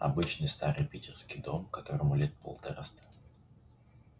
обычный старый питерский дом которому лет полтораста